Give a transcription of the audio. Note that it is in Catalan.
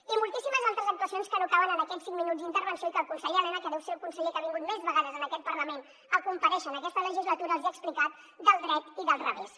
i moltíssimes altres actuacions que no caben en aquests cinc minuts d’intervenció i que el conseller elena que deu ser el conseller que ha vingut més vegades en aquest parlament a comparèixer en aquesta legislatura els hi ha explicat del dret i del revés